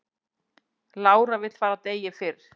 Lára vill fara degi fyrr